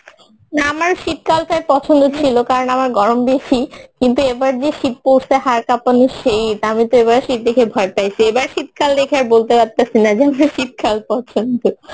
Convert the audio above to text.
না আমার শীতকাল টা পছন্দ ছিলো কারণ আমার গরম বেশী কিন্তু এবার যে শীত পরসে হাড় কাপানো শীত অমিতো এবার শীত দেখে ভয় পাইসি এবার শীত কাল দেখে আর বলতেসে পারছিনা যে আমার শীতকাল পছন্দ